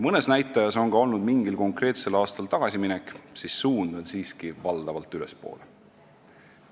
Mõne näitaja puhul on ka mingil konkreetsel aastal tagasiminek olnud, kuid suund on valdavalt ülespoole.